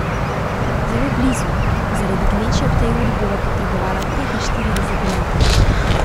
Zelo blizu, a zaradi gneče ob tej uri bova potrebovala petinštirideset minut.